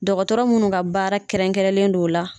Dɔgɔtɔrɔ munnu ka baara kɛrɛnkɛrɛnlen don la.